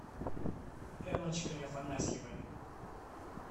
эллочкой афанасьевой